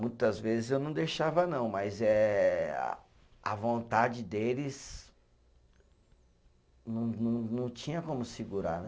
Muitas vezes eu não deixava não, mas é a vontade deles não não, não tinha como segurar, né.